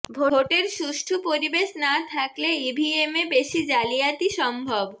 ভোটের সুষ্ঠু পরিবেশ না থাকলে ইভিএমে বেশি জালিয়াতি সম্ভব